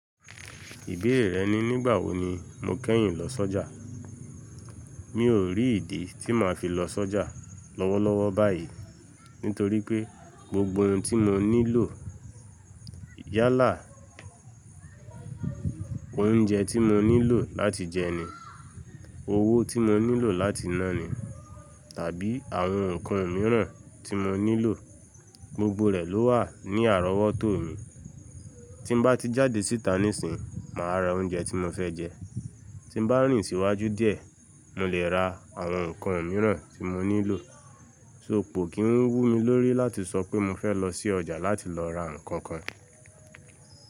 Ìbéèrè rẹ ni nígbà wo ni mo kẹ́yìn lọ s'ọ́jà. Mi ò rí ìdí tí màá fi lọ s'ọ́jà lọ́wọ́lọ́wọ́ báyìí nítorí pé gbogbo ohun tí mo nílò yálà, oúnjẹ tí mo nílò láti jẹ ni, owó tí mo nílò láti ná ni, tàbí àwọn ǹkan imìíràn tí mo nílò gbogbo rẹ̀ ló wà ní àrọ́wọ́tòo mi. Tí m bá ti jáde síta níìsín, màá ra oúnjẹ tí mo fẹ́ jẹ. Tí m bá rìn síwájú díẹ̀, mo lè ra àwọn ǹkan imìíràn tí mo nílò. So kò kí ń wú mi lórí láti sọ pé mo fẹ́ lọ sí ọjà láti lọ ra ǹkankan.